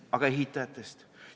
Aga ehitajad?